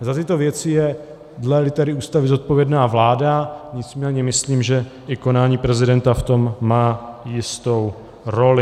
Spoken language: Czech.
Za tyto věci je dle litery Ústavy zodpovědná vláda, nicméně myslím, že i konání prezidenta v tom má jistou roli.